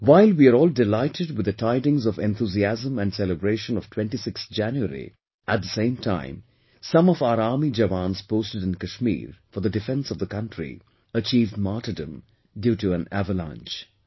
While we were all delighted with the tidings of enthusiasm and celebration of 26th January, at the same time, some of our army Jawans posted in Kashmir for the defense of the country, achieved martyrdom due to the avalanche